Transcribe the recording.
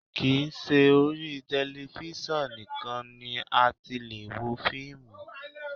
Kì í ṣe orí tẹlifísàn nìkan ni a ti lè wo fíìmù